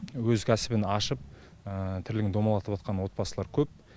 өз кәсібін ашып тірлігін домалатыватқан отбасылар көп